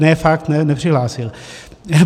Ne fakt, nepřihlásil!